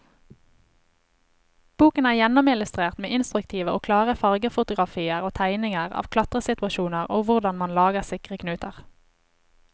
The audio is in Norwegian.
Boken er gjennomillustrert med instruktive og klare fargefotografier og tegninger av klatresituasjoner og hvordan man lager sikre knuter.